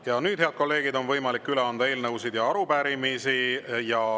Ja nüüd, head kolleegid, on võimalik üle anda eelnõusid ja arupärimisi.